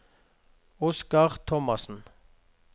Oskar Thomassen